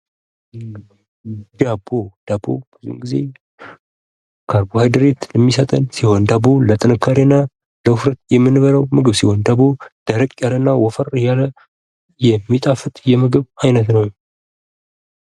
ዳቦ ብዙን ጊዜ ካርቦሃይድሬት የሚሰጥ ሲሆን ፤ ዳቦ ለጥንካሬ እና ለውፍረት የምንበላው ምግብ ሲሆን፤ ዳቦ ደረቅ ያለና ወፈር ያለ የሚጣፍጥ የምግብ አይነት ነው።